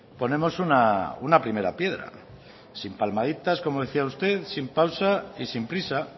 ponemos una primera piedra sin palmaditas como decía usted sin pausa y sin prisa